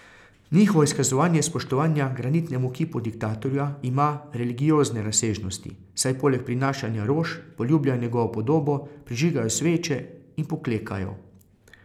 Njihovo izkazovanje spoštovanja granitnemu kipu diktatorja ima religiozne razsežnosti, saj poleg prinašanja rož poljubljajo njegovo podobo, prižigajo sveče in poklekajo.